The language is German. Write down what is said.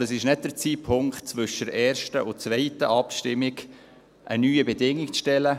Aber es ist nicht der Zeitpunkt, um zwischen der ersten und der zweiten Abstimmung eine neue Bedingung zu stellen.